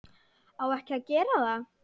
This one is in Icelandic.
Á ekki að gera það.